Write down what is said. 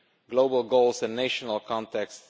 global goals and national contexts